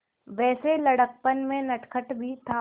वैसे लड़कपन में नटखट भी था